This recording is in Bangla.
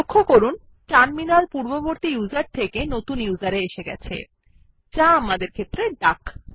লক্ষ্য করুন টার্মিনাল পূর্ববর্তী ইউজার থেকে নতুন ইউজার এ এসেছে যা আমাদের ক্ষেত্রে ডাক